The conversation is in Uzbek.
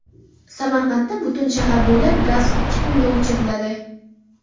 Samarqandda butun shahar bo‘ylab gaz ikki kunga o‘chiriladi.